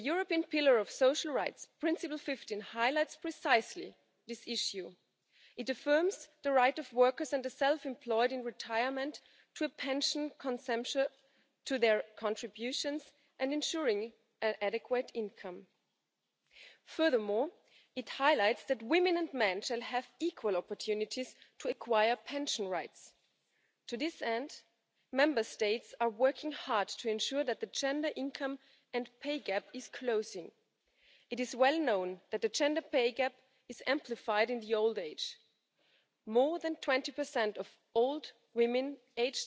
Selbstverständlich sind hier Reformen zwingend. Generationengerechtigkeit heißt, dass die demografische Entwicklung nicht auf dem Rücken der Jugend ausgetragen werden darf. Und wenn wir heute schon durchschnittlich 20 Jahre im Ruhestand verbringen, dann ist klar, dass wir länger arbeiten müssen. Die zweite Säule wir haben sie bei uns zumeist über die Betriebspensionen geregelt muss möglichst attraktiv zu einer Selbstverständlichkeit werden. Wir müssen sie stärken, um die Lebensstandards im Alter auch aufrechterhalten zu können. Und die dritte Säule, private Alterssicherung, bekommt schon bald eine besonders für junge